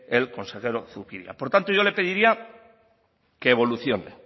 el consejero zupiria por tanto yo le pediría que evolucione